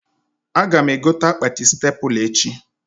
Aga m egote akpati stepla echi